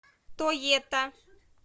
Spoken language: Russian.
тоета